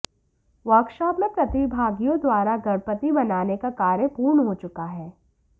workshop में प्रतिभागियों द्वारा गणपति बनाने का कार्य पूर्ण हो चुका है